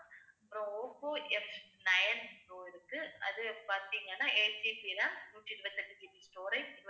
அப்புறம் Oppo Fnine pro இருக்கு. அது பாத்தீங்கன்னா 8GB RAM நூத்தி இருபத்தி எட்டு GBstorage